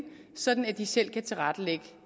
sådan at de selv kan tilrettelægge